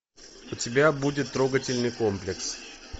у тебя будет трогательный комплекс